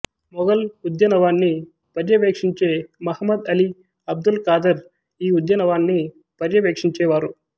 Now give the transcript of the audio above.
మొఘల్ ఉద్యనవాన్ని పర్యవేక్షించే మహ్మద్ అలీ అబ్దుల్ ఖాదర్ ఈ ఉద్యనవాన్ని పర్యవేక్షించేవారు